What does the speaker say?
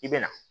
I bɛ na